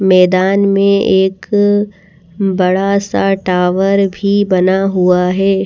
मैदान में एक बड़ा सा टावर भी बना हुआ है।